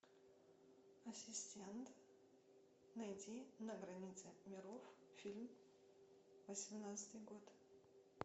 ассистент найди на границе миров фильм восемнадцатый год